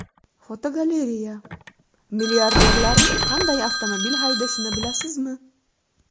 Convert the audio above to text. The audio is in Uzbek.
Fotogalereya: Milliarderlar qanday avtomobil haydashini bilasizmi?.